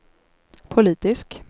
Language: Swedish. politisk